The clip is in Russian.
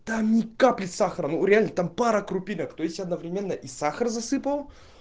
там ни капли сахара ну реально там пара крупинок то есть одновременно и сахар засыпал